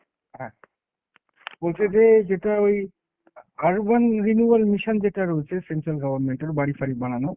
হ্যাঁ, বলছে যে যেটা ওই urban renewal mission যেটা রয়েছে central government এর বাড়ি-ফাড়ি বানানোর,